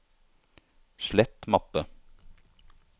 slett mappe